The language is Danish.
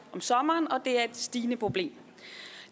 om sommeren og det er et stigende problem